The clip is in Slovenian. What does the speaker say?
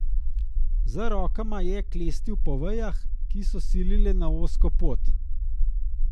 Z rokama je klestil po vejah, ki so silile na ozko pot.